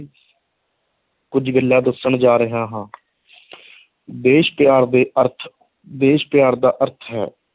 ਕੁੱਝ ਗੱਲਾਂ ਦੱਸਣ ਜਾ ਰਿਹਾ ਹਾਂ ਦੇਸ਼ ਪਿਆਰ ਦੇ ਅਰਥ ਦੇਸ਼ ਪਿਆਰ ਦਾ ਅਰਥ ਹੈ,